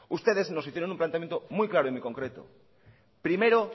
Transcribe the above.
ustedes nos hicieron un planteamiento muy claro y muy concreto primero